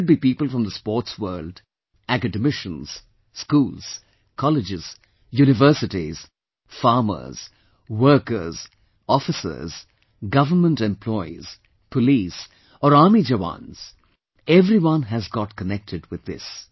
Whether it be people from the sports world, academicians, schools, colleges, universities, farmers, workers, officers, government employees, police, or army jawans every one has got connected with this